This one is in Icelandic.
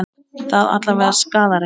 Það alla vega skaðar ekki.